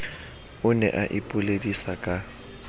o ne o ipoledisa ka